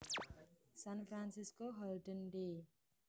San Francisco Holden Day